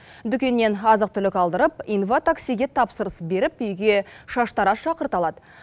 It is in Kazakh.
дүкеннен азық түлік алдырып инватаксиге тапсырыс беріп үйге шаштараз шақырта алады